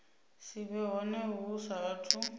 si vhe hone hu saathu